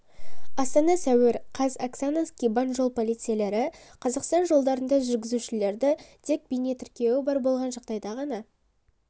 астана сәуір қаз оксана скибан жол полицейлері қазақстан жолдарында жүргізушілерді тек бейнетіркеуі бар болған жағдайда ғана